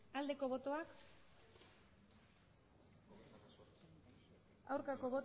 aldeko botoak aurkako